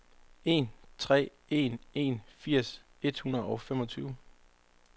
en tre en en firs et hundrede og femogtyve